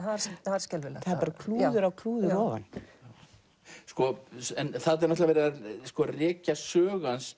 það var skelfilegt það er bara klúður á klúður ofan en þarna er verið að rekja sögu hans